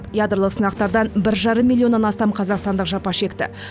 ядролық сынақтардан бір жарым миллионнан астам қазақстандық жапа шекті